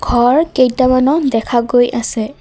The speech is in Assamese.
ঘৰ কেইটামানো দেখা গৈ আছে।